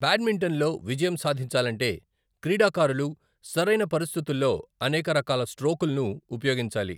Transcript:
బ్యాడ్మింటన్లో విజయం సాధించాలంటే క్రీడాకారులు సరైన పరిస్థితుల్లో అనేక రకాల స్ట్రోకుల్ను ఉపయోగించాలి .